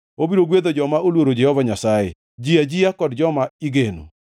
obiro gwedho joma oluoro Jehova Nyasaye, ji ajia kod joma igeno.